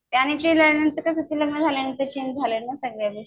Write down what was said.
ते केल्यांनतर ते कसं लग्न झाल्यांनतर चेंज झाल्या सगळ्या गोष्टी